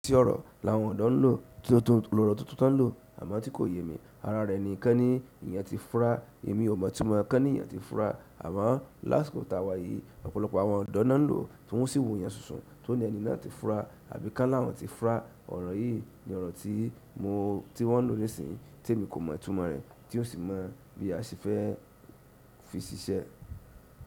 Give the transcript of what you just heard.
Tí ọ̀rọ̀ làwọn ọ̀dọ́ ń lò, lóro tuntun tán lò, àmọ́ tí kò yé mi, ara rẹ̀ ni kẹ́ ní ìyẹn ti fura, èmi ò mọ̀ túmọ̀ kẹ́ ní ìyẹn ti fura. Amoo lásìkò taa wayi ọ̀pọ̀lọpọ̀ àwọn odo na n lo, ti won yio si wo eyan sunsun ti won oni ẹni náà ti fura tàbí kan ni àwọn ti fura. Ọ̀rọ̀ yìí ni ọ̀rọ̀ tí mo, tí wọ́n lò nísìínyi, tí èmi kò mọ̀ túmọ̀ rẹ̀, tí ó sì mọ̀ bí a ṣe fẹ́ fi ṣiṣẹ́.